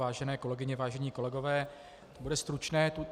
Vážené kolegyně, vážení kolegové, to bude stručné.